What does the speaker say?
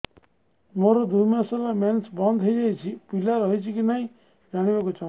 ମୋର ଦୁଇ ମାସ ହେଲା ମେନ୍ସ ବନ୍ଦ ହେଇ ଯାଇଛି ପିଲା ରହିଛି କି ନାହିଁ ଜାଣିବା କୁ ଚାହୁଁଛି